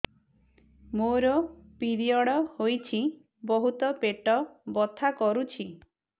ମୋର ପିରିଅଡ଼ ହୋଇଛି ବହୁତ ପେଟ ବଥା କରୁଛି